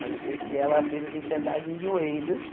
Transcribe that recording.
Mas eu sei que ela fez a gente andar de joelhos.